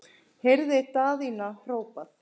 heyrði Daðína hrópað.